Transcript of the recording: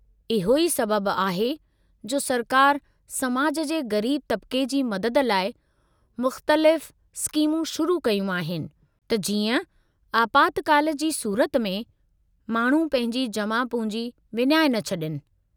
इहो ई सबबु आहे जो सरकार समाज जे ग़रीब तबक़े जी मदद लाइ मुख़्तलिफ़ स्कीमूं शुरू कयूं आहिनि; त जीअं आपातकाल जी सूरत में माण्हू पंहिंजी जमा पूंजी विञाए न छड॒नि।